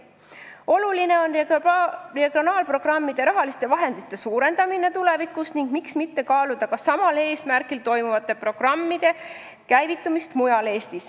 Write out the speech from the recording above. Oluline on tulevikus suurendada regionaalprogrammide rahalisi vahendeid ning miks mitte kaaluda ka mujal Eestis sama eesmärgiga programmide käivitamist.